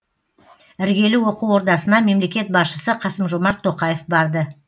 іргелі оқу ордасына мемлекет басшысы қасым жомарт тоқаев барды